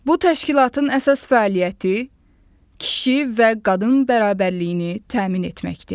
Bu təşkilatın əsas fəaliyyəti kişi və qadın bərabərliyini təmin etməkdir.